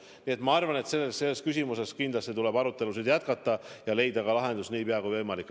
Nii et ma arvan, et selles küsimuses tuleb kindlasti arutelusid jätkata ja leida lahendus nii pea, kui võimalik.